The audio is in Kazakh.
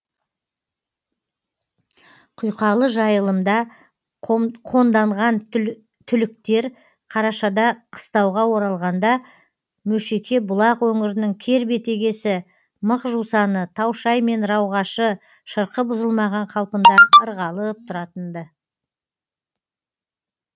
құйқалы жайылымда қонданған түліктер қарашада қыстауға оралғанда мөшеке бұлақ өңірінің кер бетегесі мықжусаны таушай мен рауғашы шырқы бұзылмаған қалпында ырғалып тұратын ды